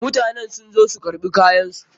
Mutanen sun zo su karɓi kayan su.